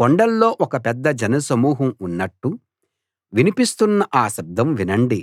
కొండల్లో ఒక పెద్ద జనసమూహం ఉన్నట్టు వినిపిస్తున్న ఆ శబ్దం వినండి